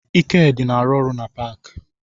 Ikedị na-arụ na paakị